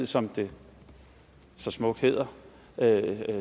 som det så smukt hedder